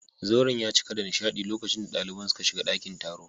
Zauren ya cika da nishadi lokacin da daliban suka shiga dakin taron